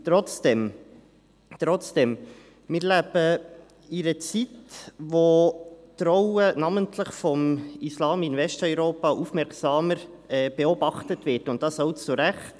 Trotzdem: Wir leben in einer Zeit, wo die Rolle namentlich des Islams in Westeuropa aufmerksamer beobachtet wird, und das auch zu Recht.